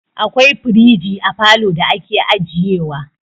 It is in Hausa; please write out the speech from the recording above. Akwai firiji a falo da ake ajiye wa.